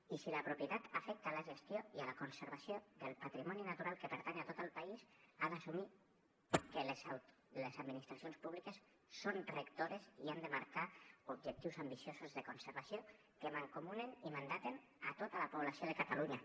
i si la propietat afecta a la gestió i a la conservació del patrimoni natural que pertany a tot el país ha d’assumir que les administracions públiques són rectores i han de marcar objectius ambiciosos de conservació que mancomunen i mandaten tota la població de catalunya